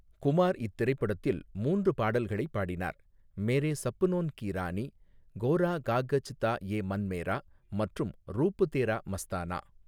குமார் இத்திரைப்படத்தில் மூன்று பாடல்களைப் பாடினார், 'மேரே சப்னோன் கி ராணி', 'கோரா காகஜ் தா ஏ மன் மேரா' மற்றும் 'ரூப் தேரா மஸ்தானா'.